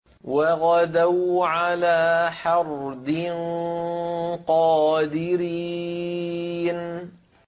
وَغَدَوْا عَلَىٰ حَرْدٍ قَادِرِينَ